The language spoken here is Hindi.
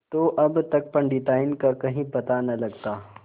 तो अब तक पंडिताइन का कहीं पता न लगता